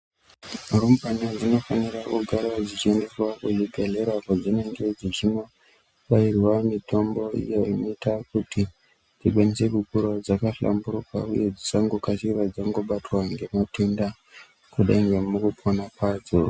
Rumbwana dzinofanira kugara dzichiendeswa kuzvibhedhlera kwadzinenge dzichinobairwa mitombo iyo inoita kuti dzingwinyise kukura dzakahlamburuka ,uye dzisangokasira dzangobatwa ngematenda, kudai ngemukupona kwadzo